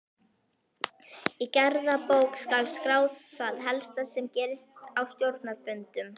Í gerðabók skal skrá það helsta sem gerist á stjórnarfundum.